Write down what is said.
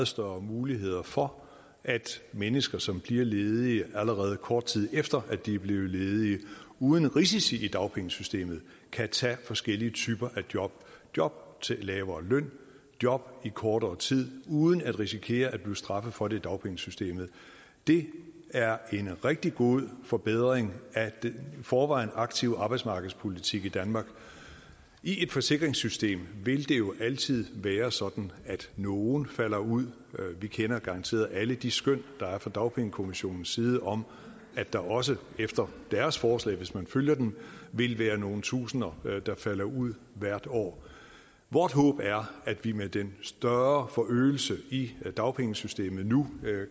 større muligheder for at mennesker som bliver ledige allerede kort tid efter at de er blevet ledige uden risici i dagpengesystemet kan tage forskellige typer af job job til lavere løn job i kortere tid uden at risikere at blive straffet for det i dagpengesystemet det er en rigtig god forbedring af den i forvejen aktive arbejdsmarkedspolitik i danmark i et forsikringssystem vil det jo altid være sådan at nogle falder ud vi kender garanteret alle sammen de skøn der er fra dagpengekommissionens side om at der også efter deres forslag hvis man følger dem vil være nogle tusinder der falder ud hvert år vort håb er at vi med den større forøgelse i dagpengesystemet nu